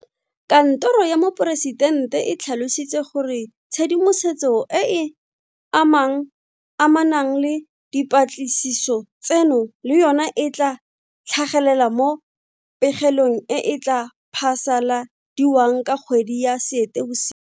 Kantoro ya Moporesitente e tlhalositse gore tshedimosetso e e amanang le dipatlisiso tseno le yona e tla tlhagelela mo pegelong e e tla phasaladiwang ka kgwedi ya Seetebosi.